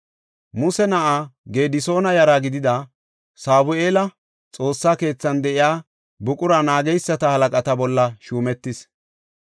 Muse na7aa Gedisoona yara gidida Sabu7eeli Xoossa keethan de7iya buqura naageysata halaqata bolla shuumetis.